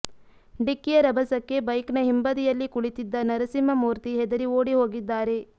ಡಿಕ್ಕಿಯ ರಭಸಕ್ಕೆ ಬೈಕ್ನ ಹಿಂಬದಿಯಲ್ಲಿ ಕುಳಿತಿದ್ದ ನರಸಿಂಹಮೂರ್ತಿ ಹೆದರಿ ಓಡಿ ಹೋಗಿದ್ದಾರೆ